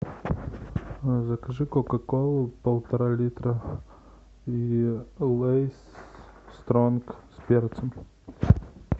закажи кока колу полтора литра и лейс стронг с перцем